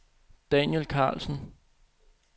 Daniel Karlsen